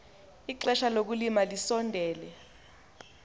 ixesha lokulima lisondele